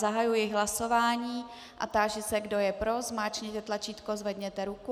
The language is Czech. Zahajuji hlasování a táži se, kdo je pro, zmáčkněte tlačítko, zvedněte ruku.